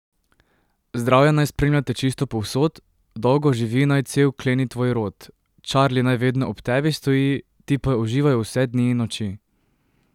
Zdravje naj spremlja te čisto povsod, dolgo živi naj cel kleni tvoj rod, Čarli naj vedno ob tebi stoji, ti pa uživaj vse dni in noči!